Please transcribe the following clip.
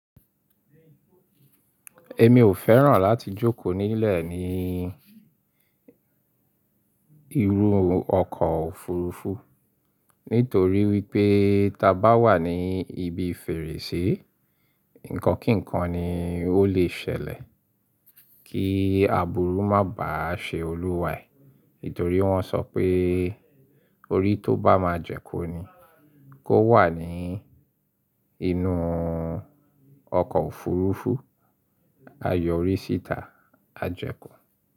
Èmi ò fẹ́ràn láti jókòó nílẹ̀ ní ìrù ọkọ̀ òfurufú nítorí wípé ta bá wà ní ibi fèrèsé, ǹkan kíǹkan ni ó lè ṣẹlẹ̀ kí àbúru má bàá ṣe olúwaẹ̀. Nítorí wọ́n sọ pé, orí tó bá máa jẹ́ kó ni kó wà ní inú ọkọ̀ òfurufú, a yọ orí síta, a jẹ kú.